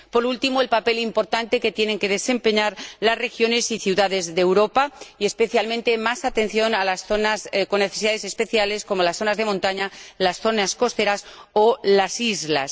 Por último, quiero destacar el papel importante que tienen que desempeñar las regiones y ciudades de Europa y, especialmente, la necesidad de prestar más atención a las zonas con necesidades especiales como las zonas de montaña, las zonas costeras o las islas.